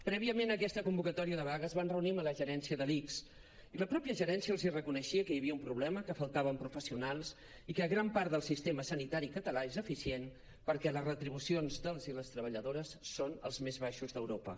prèviament a aquesta convocatòria de vaga es van reunir amb la gerència de l’ics i la pròpia gerència els reconeixia que hi havia un problema que faltaven professionals i que gran part del sistema sanitari català és eficient perquè les retribucions dels i les treballadores són els més baixos d’europa